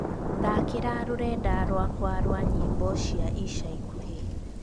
thaakĩra rũrenda rwakwa rwa nyĩmbo cia ica ikuhĩ